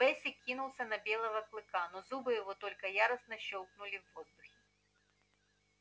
бэсик кинулся на белого клыка но зубы его только яростно щёлкнули в воздухе